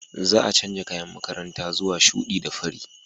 Za a canza kayan makaranta zuwa shuɗi da fari.